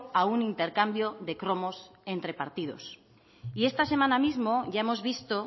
a un intercambio de cromos entre partidos y esta semana misma ya hemos visto